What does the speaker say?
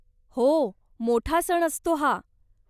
हो, मोठा सण असतो हा.